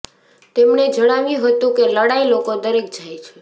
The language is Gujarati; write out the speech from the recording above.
તેમણે જણાવ્યું હતું કે લડાઈ લોકો દરેક જાય છે